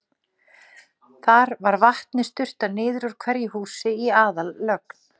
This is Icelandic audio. Þar var vatni sturtað niður úr hverju húsi í aðallögn.